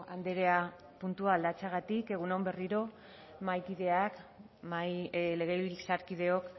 andrea puntua aldatzeagatik egun on berriro mahaikideak legebiltzarkideok